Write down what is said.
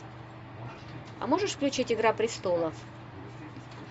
а можешь включить игра престолов